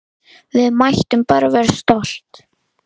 Við mættum bara vera stolt!